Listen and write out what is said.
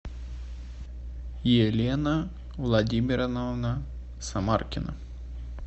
елена владимировна самаркина